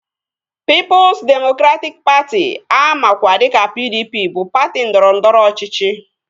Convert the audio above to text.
Pịịpụs demokratịk Patị amakwa dịka PDP bụ patị ndọrọndọrọ ọchịchị